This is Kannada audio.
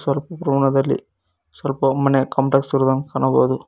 ಕಪ್ಪು ಕೋನದಲ್ಲಿ ಸ್ವಲ್ಪ ಮನೆ ಕಾಂಪ್ಲೆಕ್ಸ್ ಇರುವುದನ್ನು ಕಾಣಬಹುದು.